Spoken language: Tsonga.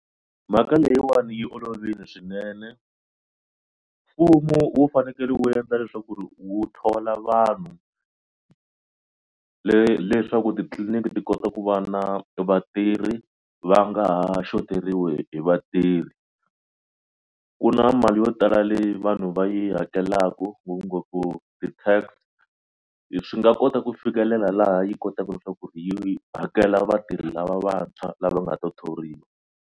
Mhaka leyiwani yi olovile swinene mfumo wu fanekele wu endla leswaku ri wu thola vanhu leswaku titliliniki ti kota ku va na vatirhi va nga ha xoteriwa hi vatirhi. Ku na mali yo tala leyi vanhu va yi hakelaka ngopfungopfu ti-tax leswi nga kota ku fikelela laha yi kotaka leswaku ku yi hakela vatirhi lava vantshwa lava nga ta thoriwa.